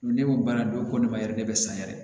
Ne ko baara don ko ne ma yɛrɛ ne bɛ san yɛrɛ